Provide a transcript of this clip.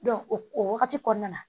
o wagati kɔnɔna na